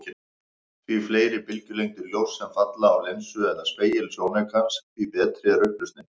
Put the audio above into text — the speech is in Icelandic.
Því fleiri bylgjulengdir ljóss sem falla á linsu eða spegil sjónaukans, því betri er upplausnin.